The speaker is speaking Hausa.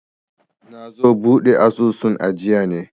nazo buɗe asusun ajiya ne